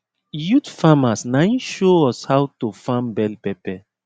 youth farmers naim show us how to farm bell pepper